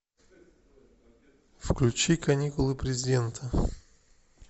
включи каникулы президента